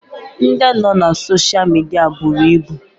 Ndị nọ na sosha midia buru ibu